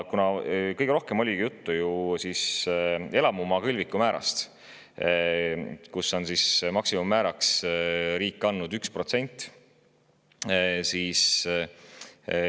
Kõige rohkem oli juttu elamumaa kõlviku määrast, mille maksimummääraks on riik 1%.